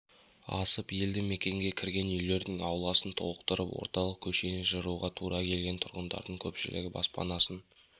асып елді мекенге кірген үйлердің ауласын толтырып орталық көшені жыруға тура келген тұрғындардың көпшілігі баспанасын